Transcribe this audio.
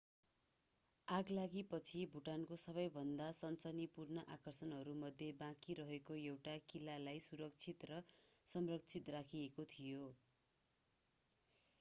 आगलागीपछि भुटानको सबैभन्दा सनसनीपूर्ण आकर्षणहरूमध्ये बाँकी रहेको एउटा किल्लालाई सुरक्षित र संरक्षित राखिएको थियो